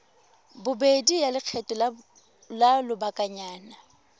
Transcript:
bobedi ya lekgetho la lobakanyana